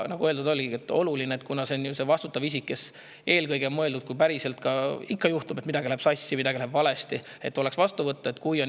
Nagu öeldud, kuna see on vastutav isik, kes eelkõige on mõeldud, kui päriselt ka – ikka juhtub, et midagi läheb sassi, midagi läheb valesti –, siis on oluline, et võetakse vastu.